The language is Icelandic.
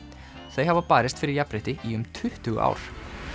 þau hafa barist fyrir jafnrétti í um tuttugu ár